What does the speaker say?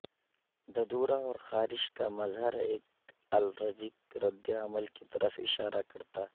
ددورا اور خارش کا مظہر ایک الرجک رد عمل کی طرف اشارہ کرتا